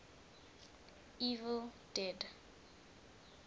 evil dead